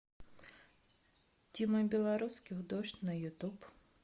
тима белорусских дождь на ютуб